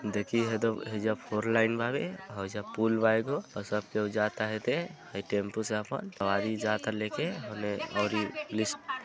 देखिये हेदा हैजा फोर लाइन बावे होजा पूल बा एगो अ सब केहू जात हेदे हई टेम्पू से आपन सवारी जाता लेके होने और ई लिस --